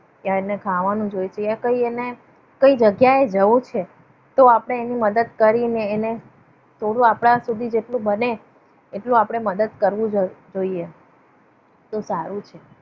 કે એને ખાવાનું જોઈતું હોય કઈ એને કોઈ જગ્યાએ જવું છે. તો આપણે એની મદદ કરીને એને થોડું આપણાથી જે થોડું બને એટલું આપણે મદદ કરવું જોઈએ. તો સારું છે